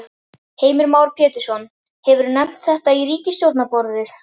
Heimir Már Pétursson: Hefurðu nefnt þetta við ríkisstjórnarborðið?